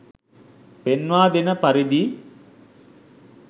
පෙන්වා දෙන පරිදි